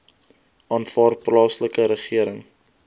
aanvaar plaaslike regering